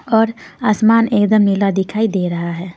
और आसमान एकदम नीला दिखाई दे रहा है.